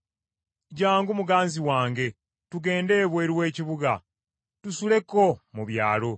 Jjangu, muganzi wange tugende ebweru w’ekibuga, tusuleko mu byalo.